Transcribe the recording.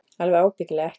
Alveg ábyggilega ekki.